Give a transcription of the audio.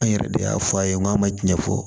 An yɛrɛ de y'a fɔ a ye n k'a ma ɲɛ fɔ